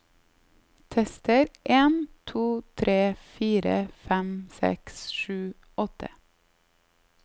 Tester en to tre fire fem seks sju åtte